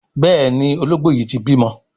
Béèni Ológbò yí tí bímọ.